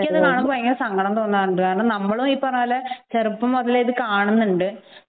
എനിക്ക് അത് ഭയങ്കര സങ്കടം തോന്നാറുണ്ട് കാരണം നമ്മളും ഇപ്പറഞ്ഞതുപോലെ ചെറുപ്പം മുതലേ ഇത് കാണുന്നുണ്ട്